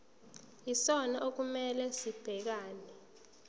yisona okumele sibhekane